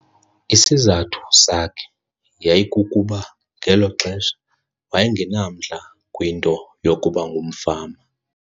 Isizathu sakhe yayikukuba ngelo xesha waye ngenamdla kwinto yokuba ngumfama.